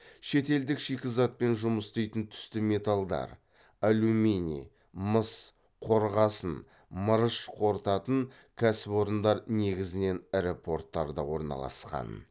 шетелдік шикізатпен жұмыс істейтін түсті металдар қорытатын кәсіпорындар негізінен ірі порттарда орналасқан